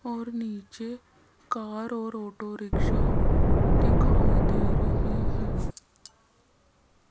और नीचे कार और ऑटो रिक्शा दिखाई दे रहे हैं।